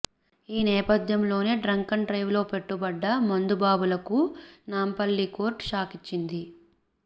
ఈ నేపథ్యంలోనే డ్రంకెన్ డ్రైవ్లో పట్టుబడ్డ మందు బాబులకు నాంపల్లి కోర్టు షాక్ ఇచ్చింది